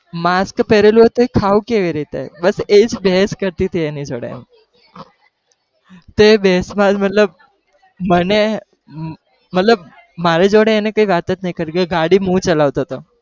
mask પહેરેલું હતું ખાવું કેવી રીતે બસ એજ બહેસ કરતી હતી એની જોડે, તો એ બહેસમાં મતલબ મને મતલબ મારી જોડે એણે કઈ વાત જ નહી કરી કે ગાડી હું ચલાવતો હતો.